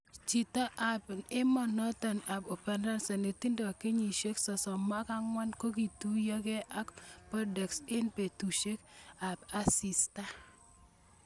Chito ab emonoton ab Ufaransa netindo kenyisiek 34 kokituyoge ak Bordeaux eng' betusiek ab asista.